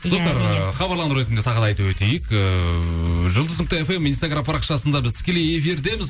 достар ы хабарландыру ретінде тағы да айтып өтейік ыыы жұлдыз нүкте фм инстаграм парақшасында біз тікелей эфирдеміз